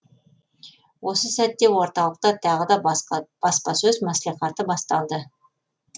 осы сәтте орталықта тағы да баспасөз маслихаты басталды